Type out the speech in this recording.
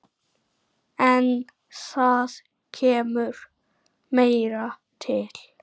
En það kemur meira til.